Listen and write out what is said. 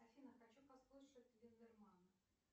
афина хочу послушать линдеманна